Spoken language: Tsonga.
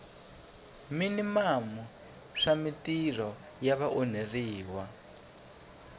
minimamu swa mintirho ya vaonheriwa